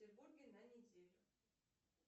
петербурге на неделю